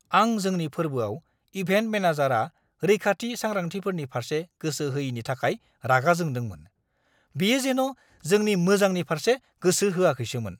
आं जोंनि फोरबोआव इभेन्ट मेनेजारआ रैखाथि सांग्रांथिफोरनि फारसे गोसो होयिनि थाखाय रागा जोंदोंमोन। बियो जेन' जोंनि मोजांनि फारसे गोसो होआखैसोमोन।